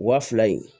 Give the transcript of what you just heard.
Wa fila in